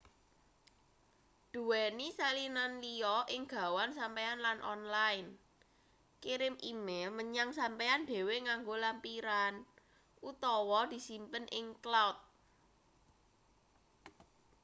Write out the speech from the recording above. duweni salinan liya ing gawan sampeyan lan online kirim e-mail menyang sampeyan dhewe nganggo lampiran utawa disimpen ing cloud”